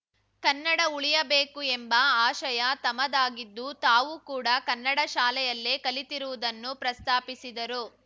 ಕನ್ನಡ ಉಳಿಯಬೇಕು ಎಂಬ ಆಶಯ ತಮದಾಗಿದ್ದು ತಾವೂ ಕೂಡ ಕನ್ನಡ ಶಾಲೆಯಲ್ಲೆ ಕಲಿತಿರುವುದನ್ನು ಪ್ರಸ್ತಾಪಿಸಿದರು